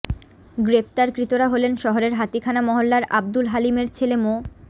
গ্রেপ্তারকৃতরা হলেন শহরের হাতিখানা মহল্লার আব্দুল হালিমের ছেলে মো